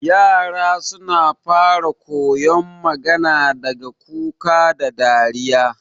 yara suna fara koyon magana daga kuka da dariya